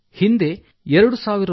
ಹಿಂದೆ ರೂ